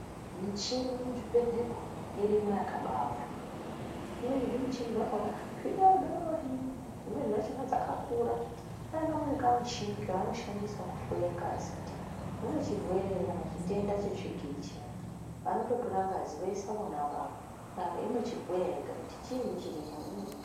Michini mu zvibhedhlera umu irimo yakabai wanda zvimweni zvi michini zvakona zvi dodori dzimweni dza chona dzaka kura pane kamweni ka mushini ka ano shandise ku hloye ngazi kuti mune chirwere ere kana chitenda che tsvigiri chiyani vanoto tora ngazi voisa vona ivavo inochi bhuya yega kuti chinyi chirimwo.